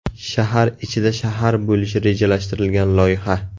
Shahar ichida shahar bo‘lishi rejalashtirilgan loyiha.